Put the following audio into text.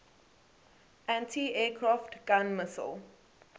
anti aircraft gun missile